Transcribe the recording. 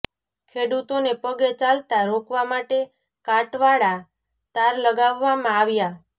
ખેડૂતોને પગે ચાલતા રોકવા માટે કાંટવાળા તાર લગાવવામાં આવ્યા